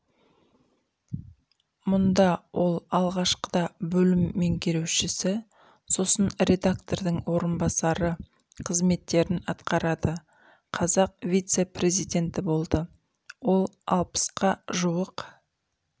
мұнда ол алғашқыда бөлім менгерушісі сосын редактордың орынбасары қызметтерін атқарады қазақ вице-призиденті болды ол алпысқа жуық